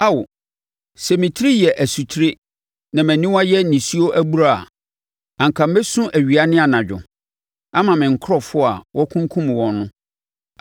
Ao, sɛ me etiri yɛ asutire, na mʼaniwa yɛ nisuo abura a, anka mɛsu awia ne anadwo ama me nkurɔfoɔ a wɔakunkum wɔn no.